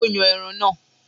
Ó yan ẹran náà.